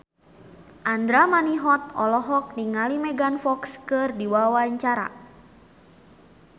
Andra Manihot olohok ningali Megan Fox keur diwawancara